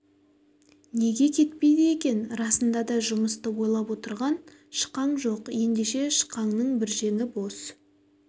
неге кетпейді екен расында да жұмысты ойлап отырған шықаң жоқ ендеше шықаңның бір жеңі бос